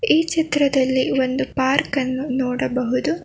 ಈ ಚಿತ್ರದಲ್ಲಿ ಒಂದು ಪಾರ್ಕ್ ಅನ್ನು ನೋಡಬಹುದು.